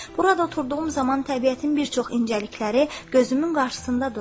Burada oturduğum zaman təbiətin bir çox incəlikləri gözümün qarşısında durur.